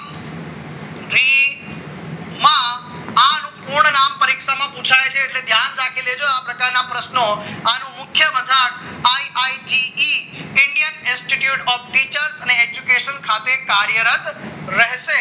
આનું પૂર્ણ નામ પરીક્ષામાં પુછાય છે એટલે કે યાદ રાખી લેજો બધા પ્રશ્નો અને મુખ્ય પદાર્થ IITE indian institute of teacher and education ખાતે કાર્યરત રહેશે